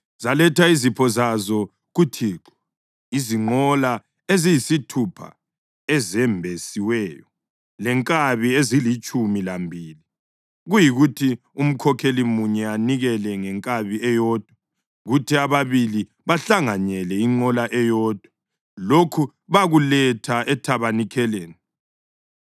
Zaletha izipho zazo kuThixo, izinqola eziyisithupha ezembesiweyo lenkabi ezilitshumi lambili, kuyikuthi umkhokheli munye anikele ngenkabi eyodwa kuthi ababili bahlanganyele inqola eyodwa. Lokhu bakuletha ethabanikeleni.